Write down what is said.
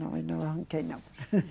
Não, eu não arranquei, não.